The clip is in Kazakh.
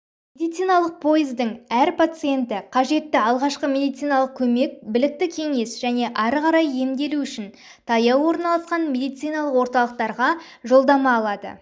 медициналық пойыздың әр пациенті қажетті алғашқы медициналық көмек білікті кеңес және ары қарай емделу үшін таяу орналасқан медициналық орталықтарға жолдама алады